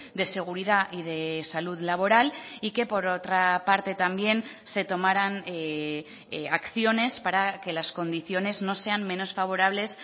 de seguridad y de salud laboral y que por otra parte también se tomaran acciones para que las condiciones no sean menos favorables